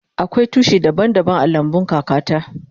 Akwai tushi daban daban a lambun kaka ta.